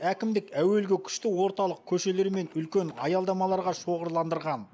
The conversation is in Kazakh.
әкімдік әуелгі күшті орталық көшелер мен үлкен аялдамаларға шоғырландырған